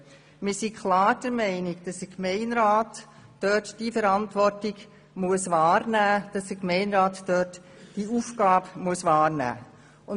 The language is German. Wir sind klar der Meinung, dass der Gemeinderat die Verantwortung – diese Aufgabe – wahrnehmen muss.